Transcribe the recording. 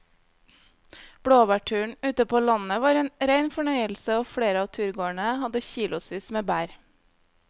Blåbærturen ute på landet var en rein fornøyelse og flere av turgåerene hadde kilosvis med bær.